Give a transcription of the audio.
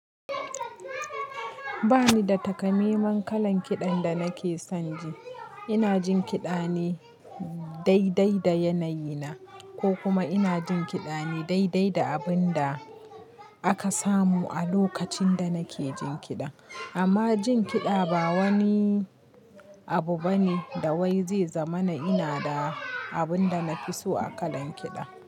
Ba ni da takamaiman kalan kiɗan da nake son ji. Ina jin kiɗa ne daidai da yanayi na ko kuma ina jin kiɗa ne daidai da abin da aka samu a lokacin da nake jin kiɗa. Amma jin kiɗa ba wani abu bane da wai zai zama na ina da abin da na fi so a kalan kiɗa.